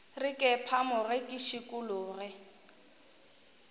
re ke phamoge ke šikologe